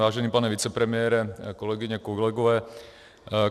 Vážený pane vicepremiére, kolegyně, kolegové.